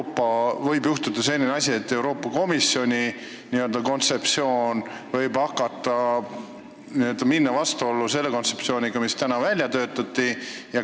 Kas võib juhtuda selline asi, et Euroopa Komisjoni kontseptsioon läheb vastuollu selle kontseptsiooniga, mis meil välja on töötatud?